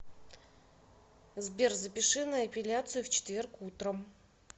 сбер запиши на эпиляцию в четверг утром